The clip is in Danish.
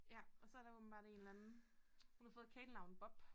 Ja og så der åbenbart en eller anden hun har fået et kælenavn Bob